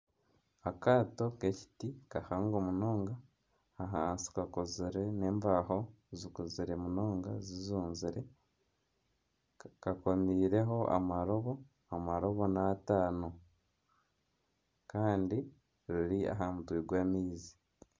Akaato k'ekiti kahango munonga, ahansi kakozire n'embaho zikuzire munonga zizunzire kakomiireho amarobo. Amarobo ni ataano Kandi riri aha mutwe gw'amaizi.